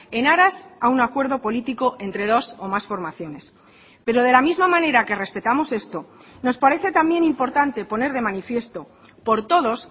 en aras a un acuerdo político entre dos o más formaciones pero de la misma manera que respetamos esto nos parece también importante poner de manifiesto por todos